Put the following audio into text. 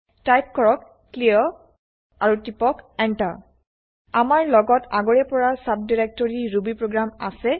type কৰক clear আৰু টিপক enter আমাৰ লগত আগৰে পৰা চাবডাইৰেক্টৰি ৰুবিপ্ৰগ্ৰাম আছে